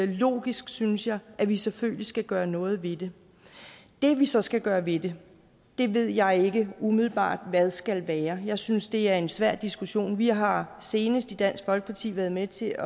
logisk synes jeg at vi selvfølgelig skal gøre noget ved det det vi så skal gøre ved det ved jeg ikke umiddelbart hvad skal være jeg synes det er en svær diskussion vi har senest i dansk folkeparti været med til